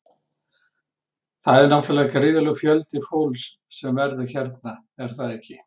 Þetta er náttúrulega gríðarlegur fjöldi fólks sem verður hérna er það ekki?